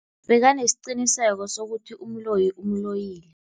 Bekanesiqiniseko sokuthi umloyi umloyile.